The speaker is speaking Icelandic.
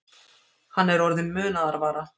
Hann er orðinn munaðarvara